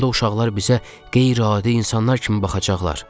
Onda uşaqlar bizə qeyri-adi insanlar kimi baxacaqlar.